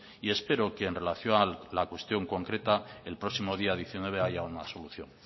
y espero que en relación a la cuestión concreta el próximo día diecinueve haya una solución